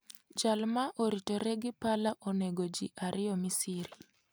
Jal ma oritore gi pala onego ji ariyo Misiri